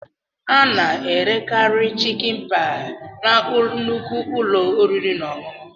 Ana-erekarị chịkin paị na nnukwu ụlọ oriri na ọṅụṅụ.